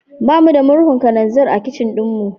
Ba mu da murhun kananzir a kicin ɗinmu.